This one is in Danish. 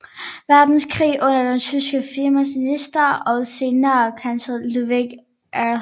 Verdenskrig under den tyske finansminister og senere kansler Ludwig Erhard